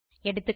எகா